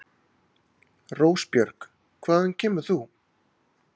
Rósbjörg, hvaðan kemur þú?